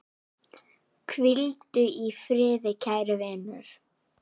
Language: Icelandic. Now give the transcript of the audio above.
Hvíldu í friði kæri vinur.